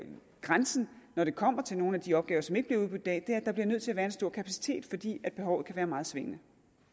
grænsen når det kommer til nogle af de opgaver som ikke bliver udbudt i dag er at der bliver nødt til at være en stor kapacitet fordi behovet kan være meget svingende